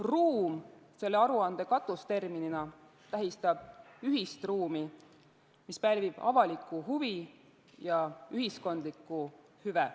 "Ruum" selle aruande katusterminina tähistab ühist ruumi, mis pälvib avalikku huvi ja ühiskondlikku hüve.